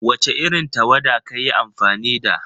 Wace irin tawada kayi amfani da?